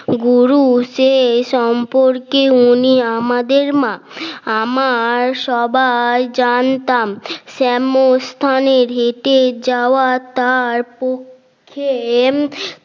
গুরু সে সম্পর্কে উনি আমাদের মা আমার সবাই জানতাম শ্যামরস্থানের হেটে যাওয়া তার পক্ষে